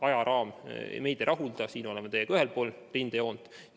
Ajaraam meid ei rahulda, siin oleme teiega ühel pool rindejoont.